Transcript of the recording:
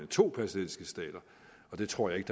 to palæstinensiske stater og det tror jeg ikke